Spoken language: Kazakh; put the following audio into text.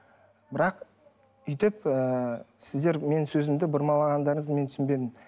бірақ бүйтіп ыыы сіздер менің сөзімді бұрмалағандарыңыз мен түсінбедім